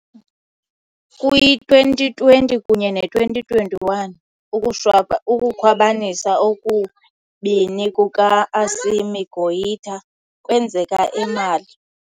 Kwi-2020 kunye ne -2021, ukukhwabanisa okubini kuka -Assimi Goïta kwenzeka eMali.